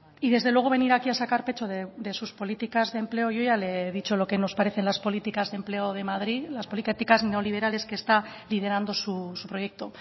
y desde luego venir aquí a sacar pecho de sus políticas de empleo yo ya le he dicho lo que nos parecen las políticas de empleo de madrid las políticas neoliberales que está liderando su proyecto